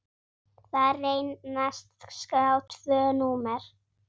Þar reynast skráð tvö númer.